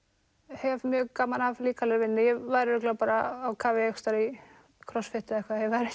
hef mjög gaman af líkamlegri vinnu ég væri örugglega bara á kafi einhvers staðar í crossfit eða eitthvað ef ég væri